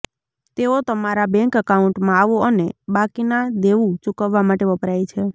તેઓ તમારા બેંક એકાઉન્ટમાં આવો અને બાકીના દેવું ચૂકવવા માટે વપરાય છે